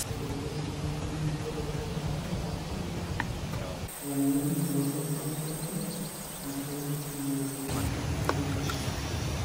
Ore irkesii lenkishooroto evirus eZika eim eunoto osarge metolikioyioki sii aitoki.